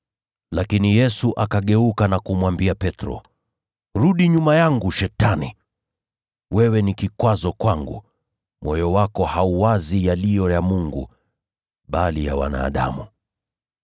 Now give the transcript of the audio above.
Lakini Yesu akageuka na kumwambia Petro, “Rudi nyuma yangu, Shetani! Wewe ni kikwazo kwangu. Moyo wako hauwazi yaliyo ya Mungu, bali ya wanadamu.”